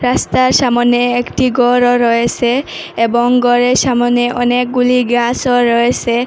রাস্তার সামোনে একটি গরও রয়েছে এবং গরের সামোনে অনেকগুলি গাসও রয়েসে ।